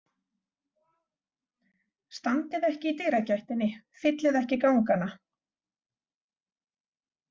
Standið ekki í dyragættinni, fyllið ekki gangana.